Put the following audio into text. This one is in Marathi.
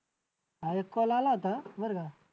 हां एक call आला होता बरं का